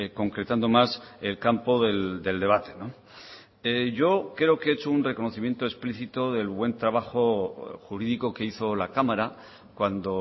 concretando más el campo del debate yo creo que he hecho un reconocimiento explícito del buen trabajo jurídico que hizo la cámara cuando